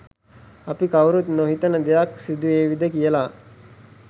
අපි කවුරුත් නොහිතන දෙයක් සිදු වේවිද කියලා